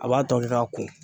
A b'a tɔ kɛ k'a ko